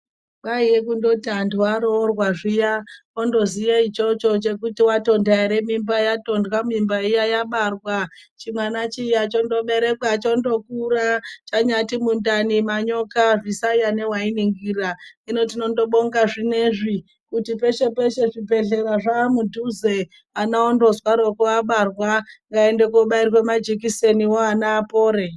Kwaiye kundooti antu aroorwa zviya votoziye ichocho chekuti watonda ere mimba , yatondwa mimba iya yabarwa chimwana chiya chondoberekwa chondokura chanyati mundani manyoka zvisaya newainingira. Hino tobinga zvinezvi kuti peshe peshe zvibhedhlera zvamudhuze ana ondozwaroko abarwa ngaende kobairwa majekiseniwo ana apore.